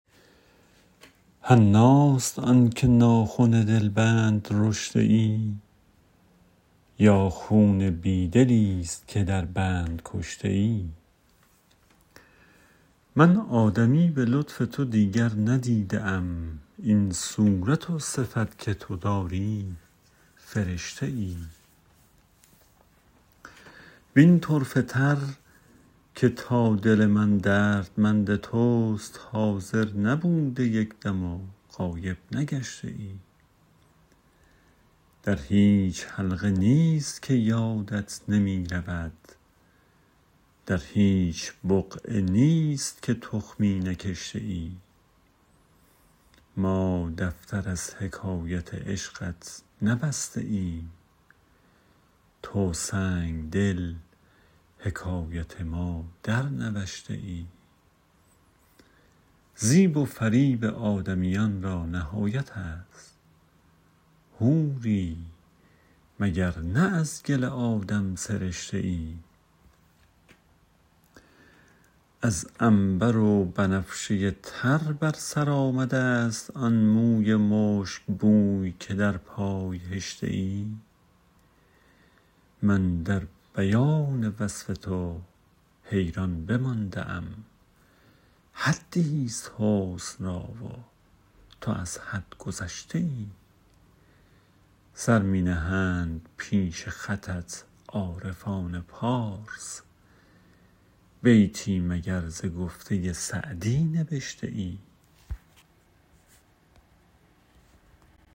حناست آن که ناخن دلبند رشته ای یا خون بی دلیست که در بند کشته ای من آدمی به لطف تو دیگر ندیده ام این صورت و صفت که تو داری فرشته ای وین طرفه تر که تا دل من دردمند توست حاضر نبوده یک دم و غایب نگشته ای در هیچ حلقه نیست که یادت نمی رود در هیچ بقعه نیست که تخمی نکشته ای ما دفتر از حکایت عشقت نبسته ایم تو سنگدل حکایت ما درنوشته ای زیب و فریب آدمیان را نهایت است حوری مگر نه از گل آدم سرشته ای از عنبر و بنفشه تر بر سر آمده ست آن موی مشکبوی که در پای هشته ای من در بیان وصف تو حیران بمانده ام حدیست حسن را و تو از حد گذشته ای سر می نهند پیش خطت عارفان پارس بیتی مگر ز گفته سعدی نبشته ای